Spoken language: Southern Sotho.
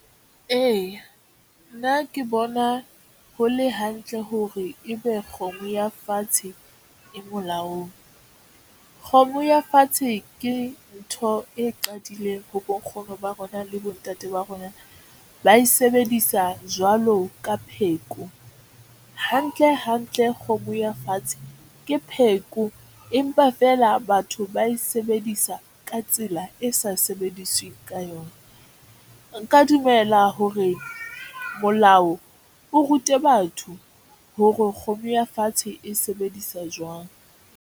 Eya, nna ke bona ho le hantle hore ebe kgomo ya fatshe e molaong. Kgomo ya fatshe ke ntho e qadileng ho bo nkgono ba rona le bontate ba rona ba e sebedisa jwalo ka pheko hantle hantle kgomo ya fatshe ke pheko. Empa fela batho ba e sebedisa ka tsela e sa sebedisweng ka yona. Nka dumela hore molao o rute batho hore kgomo ya fatshe e sebedisa jwang.